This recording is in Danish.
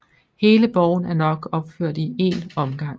Hele borgen er nok opført i én omgang